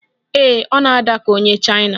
Ee, ọ na-ada ka onye Chaina